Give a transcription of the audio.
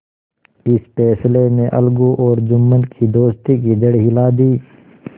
इस फैसले ने अलगू और जुम्मन की दोस्ती की जड़ हिला दी